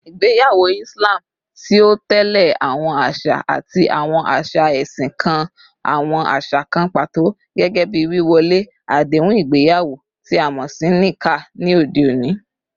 Igbeyawo Islam, ti o tẹle awọn aṣa ati awọn aṣa ẹsin, kan awọn aṣa kan pato, gẹgẹbi wíwọlé adehun igbeyawo ti a mọ si 'Nikah,' ni ode oni.